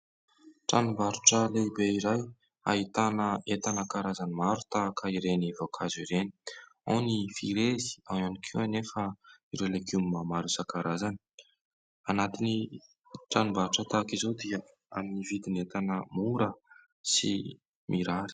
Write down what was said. Tranom-barotra lehibe iray ahitana entana karazany maro tahaka ireny voankazo ireny, ao ny frezy ao ihany koa anefa ireo legioma maro isan-karazany. Anatin'ny tranom-barotra tahaka izao dia amin'ny vidin'entana mora sy mirary.